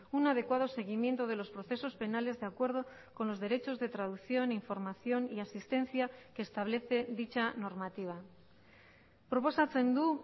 un adecuado seguimiento de los procesos penales de acuerdo con los derechos de traducción información y asistencia que establece dicha normativa proposatzen du